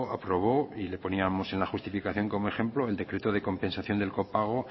aprobó y lo poníamos en la justificación como ejemplo el decreto de compensación del copago